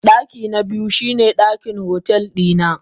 Dakina biyu shine dakin otel dina.